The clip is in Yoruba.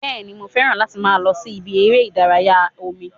Bẹ́ẹ̀ni, mo fẹ́ràn láti máa lọ sí ibi eré ìdárayá omi